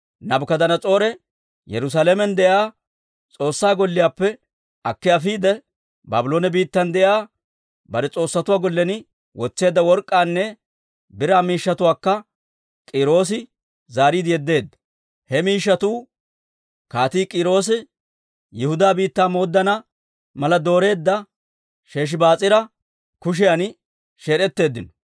Naabukadanas'oore Yerusaalamen de'iyaa S'oossaa Golliyaappe akki afiide, Baabloone biittan de'iyaa bare S'oossatuwaa gollen wotseedda work'k'aanne biraa miishshatuwaakka K'iiroosi zaariide yeddeedda. « ‹He miishshatuu Kaatii K'iiroosi Yihudaa biittaa mooddana mala dooreedda Sheshibaas'aara kushiyan sheed'etteeddino.